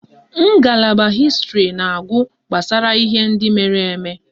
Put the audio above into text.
Ngalaba Hịstịrị na-agụ gbasara ihe ndị mere eme